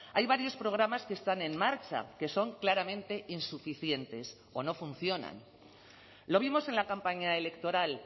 hay varios programas que están en marcha que son claramente insuficientes o no funcionan lo vimos en la campaña electoral